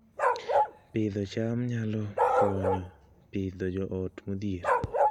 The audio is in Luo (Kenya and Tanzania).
Pidho cham nyalo konyo Pidhoo joot modhier